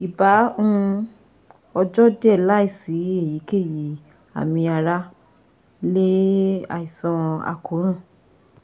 Iba um ojo diẹ laisi eyikeyi ami ara le aisan akoran